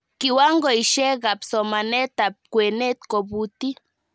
Kiwangoishekab somanetab kwenet kobuti